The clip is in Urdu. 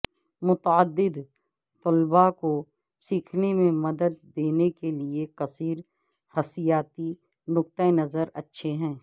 متعدد طلباء کو سیکھنے میں مدد دینے کے لئے کثیر حسیاتی نقطہ نظر اچھے ہیں